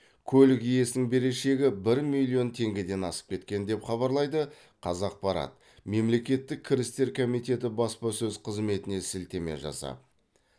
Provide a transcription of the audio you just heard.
көлік иесінің берешегі бір миллион теңгеден асып кеткен деп хабарлайды қазақпарат мемлекеттік кірістер комитеті баспасөз қызметіне сілтеме жасап